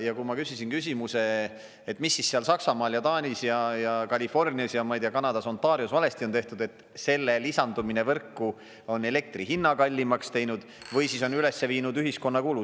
Ja kui ma küsisin küsimuse, et mis siis seal Saksamaal ja Taanis ja Californias ja, ma ei tea, Kanadas, Ontarios on valesti tehtud, et selle lisandumine võrku on elektri hinna kallimaks teinud või siis on üles viinud ühiskonna kulu.